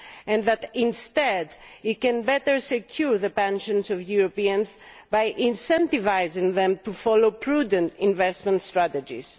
This compromise can better secure the pensions of Europeans by incentivising them to follow prudent investment strategies.